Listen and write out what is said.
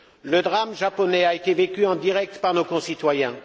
Le drame japonais a été vécu en direct par nos concitoyens.